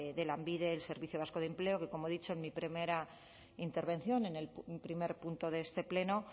de lanbide el servicio vasco de empleo que como he dicho en mi primera intervención en el primer punto de este pleno